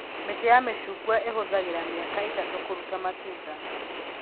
Mĩtĩ ya mĩcungwa ĩhũthagĩra mĩaka ĩtatũ kũrũta matunda